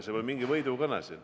See ei ole mingi võidukõne.